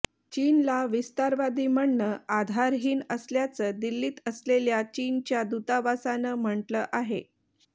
चीनला विस्तारवादी म्हणणं आधारहीन असल्याचं दिल्लीत असलेल्या चीनच्या दूतावासानं म्हटलं आहे